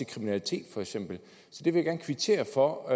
kriminalitet så det vil jeg gerne kvittere for